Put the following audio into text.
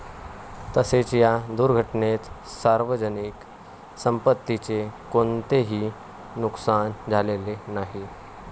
तसेच या दुर्घटनेत सार्वजनिक संपत्तीचे कोणतेही नुकसान झालेले नाही.